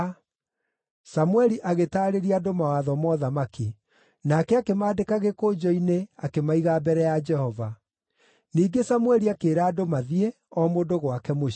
Samũeli agĩtaarĩria andũ mawatho ma ũthamaki. Nake akĩmaandĩka gĩkũnjo-inĩ akĩmaiga mbere ya Jehova. Ningĩ Samũeli akĩĩra andũ mathiĩ, o mũndũ gwake mũciĩ.